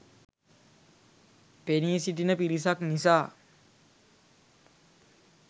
පෙනී සිටින පිරිසක් නිසා